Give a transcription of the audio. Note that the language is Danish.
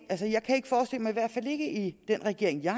hvert fald ikke i den regering jeg